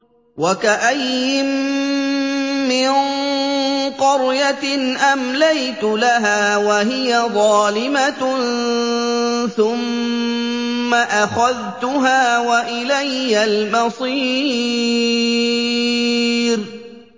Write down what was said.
وَكَأَيِّن مِّن قَرْيَةٍ أَمْلَيْتُ لَهَا وَهِيَ ظَالِمَةٌ ثُمَّ أَخَذْتُهَا وَإِلَيَّ الْمَصِيرُ